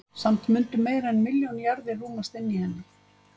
Samt mundu meira en milljón jarðir rúmast inni í henni.